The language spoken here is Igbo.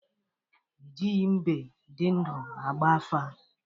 Ejighi mbe dị ndụ agba afa.